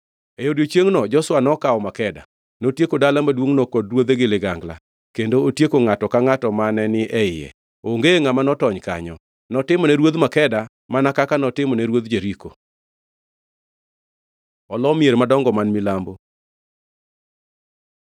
E odiechiengno Joshua nokawo Makeda. Notieko dala maduongʼno kod ruodhe gi ligangla kendo otieko ngʼato angʼata mane ni e iye. Onge ngʼama notony kanyo. Notimone ruodh Makeda mana kaka notimone ruodh Jeriko. Olo mier madongo man milambo